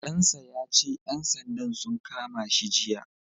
Ɗan sa ya ce ƴan sandan sun kama shi jiya.